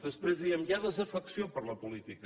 després diem hi ha desafecció per la política